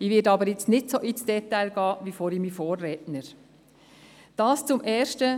Ich werde nun nicht dermassen ins Detail gehen, wie mein Vorrednerin vorhin.